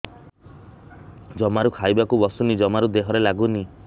ଜମାରୁ ଖାଇବାକୁ ବସୁନି ଜମାରୁ ଦେହରେ ଲାଗୁନି